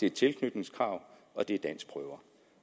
et tilknytningskrav og det er danskprøver